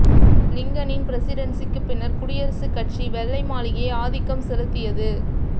லிங்கனின் பிரசிடென்சிக்கு பின்னர் குடியரசுக் கட்சி வெள்ளை மாளிகையை ஆதிக்கம் செலுத்தியது